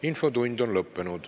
Infotund on lõppenud.